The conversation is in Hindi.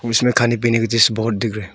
इसमें खाने पीने की चीजें बहोत दिख रहे।